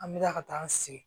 An bɛ taa ka taa an sigi